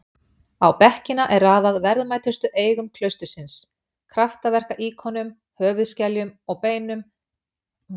Á bekkina er raðað verðmætustu eigum klaustursins- kraftaverka-íkonum, höfuðskeljum og beinum dýrlings og píslarvottar.